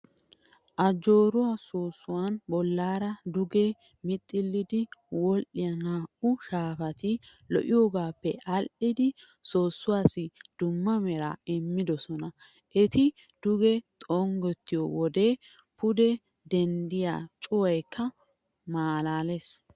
Ajooraa soossuwaan bollaara duge mixxillidi wodhdhiyaa naa'uu shaafati lo'iyoogaappe aadhdhidi soossuwaassi dumma meraa immoosona. Eti duge xonggettiyoo wode pude denddiyaa cuwayikka maalaales.